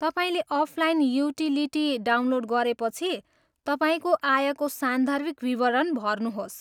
तपाईँले offline utility download गरेपछि, तपाईँको आयको सान्दर्भिक विवरण भर्नुहोस्।